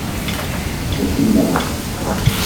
Boš videla.